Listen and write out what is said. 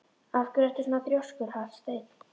Af hverju ertu svona þrjóskur, Hallsteinn?